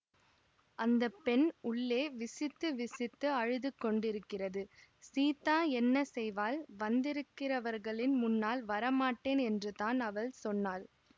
அந்த பெண் உள்ளே விசித்து விசித்து அழுது கொண்டிருக்கிறது சீதா என்ன செய்வாள் வந்திருக்கிரவர்களின் முன்னால் வரமாட்டேன் என்றுதான் அவள் சொன்னாள்